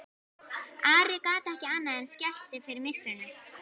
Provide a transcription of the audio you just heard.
Ari gat ekki annað en skælt sig við myrkrinu.